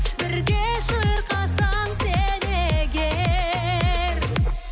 бірге шырқасаң сен егер